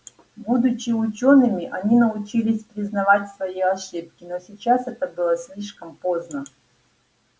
будучи учёными они научились признавать свои ошибки но сейчас это было слишком поздно